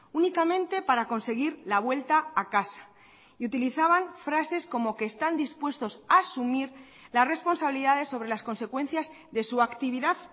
únicamente para conseguir la vuelta a casa y utilizaban frases como que están dispuestos a asumir las responsabilidades sobre las consecuencias de su actividad